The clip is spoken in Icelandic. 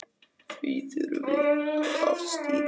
Því þurfi að afstýra.